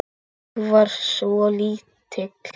Nei, ég var svo lítil.